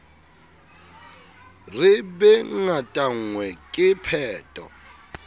re be ngatanngwe ke pheto